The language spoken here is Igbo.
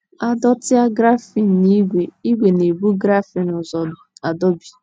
A dọtịa grafịn na ígwè, ígwè na - ebu grafịn ụzọ adọbi.